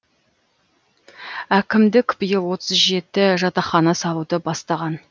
әкімдік биыл отыз жеті жатахқана салуды бастаған